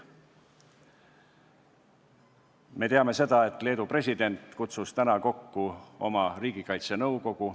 Me teame seda, et Leedu president kutsus täna kokku riigikaitsenõukogu.